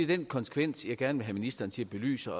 den konsekvens jeg gerne vil have ministeren til at belyse